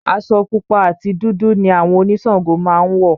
Aṣọ pupa àti dúdú ni àwọn oníṣàngó máa ń wọ̀